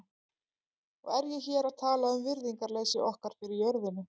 Og er ég hér að tala um virðingarleysi okkar fyrir jörðinni.